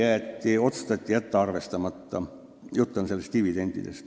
See ettepanek otsustati jätta arvestamata.